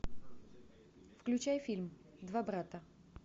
включай фильм два брата